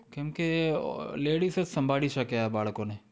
કેમ કે ladies જ સંભાળી શકે આ બાળકોને